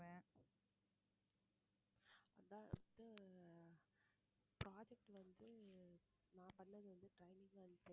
அதான் வந்து project வந்து நான் பண்ணது வந்து training and placement